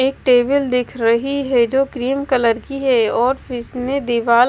एक टेबल दिख रही है जो क्रीम कलर की है और फिसने दीवाल --